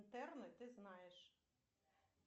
ты знаешь